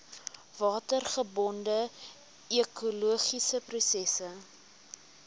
watergebonde ekologiese prosesse